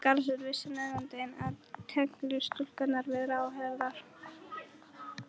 Helga Arnardóttir: Vissi nefndin af tengslum stúlkunnar við ráðherrann?